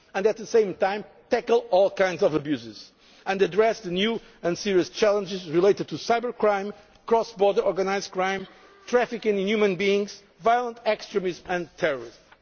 free movement and, at the same time, tackle all forms of abuses and address the new and serious challenges of cybercrime, cross border organised crime, trafficking in human beings, violent extremism